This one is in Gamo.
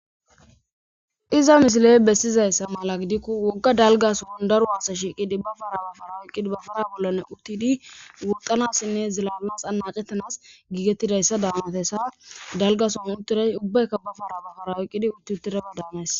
Haysa misile besiza mala gidiko woga dalga sohon daro asay shiiqidi ba para ba para oyqidi ba para bolan uthidi woxanasine ziilaalanasi anacetanas giigetidaysa danariyasa dalga sohon uthiday ubayka ba para ba para oyqidi uthuthidaba daanes.